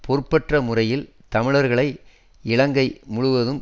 பொறுப்பற்ற முறையில் தமிழர்களை இலங்கை முழுவதும்